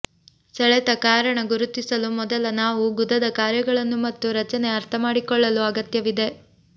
ಸೆಳೆತ ಕಾರಣ ಗುರುತಿಸಲು ಮೊದಲ ನಾವು ಗುದದ ಕಾರ್ಯಗಳನ್ನು ಮತ್ತು ರಚನೆ ಅರ್ಥಮಾಡಿಕೊಳ್ಳಲು ಅಗತ್ಯವಿದೆ